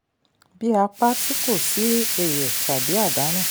bí a pa a tì kò sí èrè tàbí àdánù.